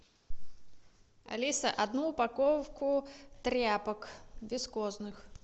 алиса одну упаковку тряпок вискозных